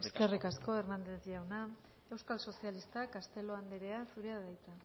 eskerrik asko eskerrik asko hernández jauna euskal sozialistak castelo andrea zurea da hitza